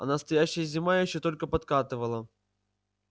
а настоящая зима ещё только подкатывала